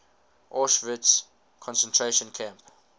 auschwitz concentration camp